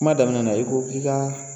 Kuma daminɛ na i ko k'i ka